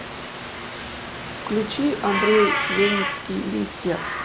включи андрей леницкий листья